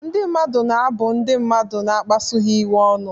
Ndị mmadụ na-abụ ndị mmadụ na-akpasu ha iwe ọnụ.